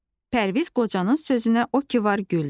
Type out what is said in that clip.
Pərviz qocanın sözünə o ki var güldü.